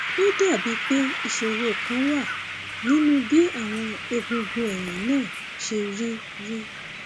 ó dàbíi pé ìṣòro kan wà nínú bí àwọn egungun ẹyìn náà ṣe rí rí